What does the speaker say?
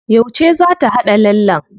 Yauce za ta haɗa lallen?